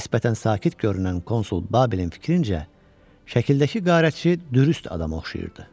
Nisbətən sakit görünən konsul Babelin fikrincə, şəkildəki qarətçi dürüst adama oxşayırdı.